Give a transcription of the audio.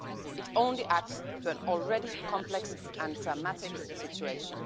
It only adds to an already complex and dramatic situation.